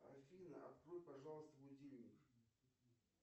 афина открой пожалуйста будильник